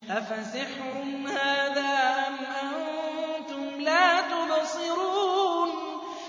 أَفَسِحْرٌ هَٰذَا أَمْ أَنتُمْ لَا تُبْصِرُونَ